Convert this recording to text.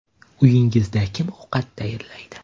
Uyingizda kim ovqat tayyorlaydi?